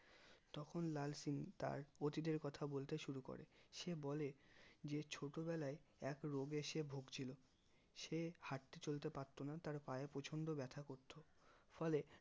তখন লাল সিং তার অতীত তের কথা বলতে শুরু করে সে বলে যে ছোট বেলায় এক রোগে সে ভুগছিল সে হাঁটতে চলতে পারতো না তার পায়ে প্রচন্ড ব্যাথা করতো ফলে